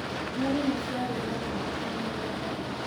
Nyoni nĩ ciarĩire mbembe ci mũgũnda.